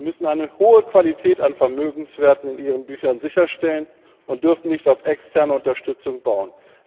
Sie müssen eine hohe Qualität an Vermögenswerten in ihren Büchern sicherstellen und dürfen nicht auf externe Unterstützung bauen.